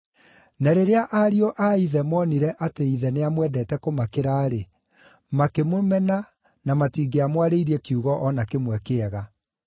Na rĩrĩa ariũ a ithe moonire atĩ ithe nĩamwendete kũmakĩra-rĩ, makĩmũmena na matingĩamwarĩirie kiugo o na kĩmwe kĩega.